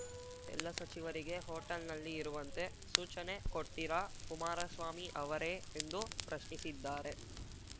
ಎಲ್ಲ ಸಚಿವರಿಗೆ ಹೋಟೆಲ್‌ನಲ್ಲಿ ಇರುವಂತೆ ಸೂಚನೆ ಕೊಡ್ತಿರಾ ಕುಮಾರಸ್ವಾಮಿ ಅವರೇ ಎಂದು ಪ್ರಶ್ನಿಸಿದ್ದಾರೆ